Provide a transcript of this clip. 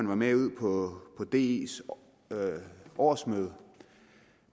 var med på dis årsmøde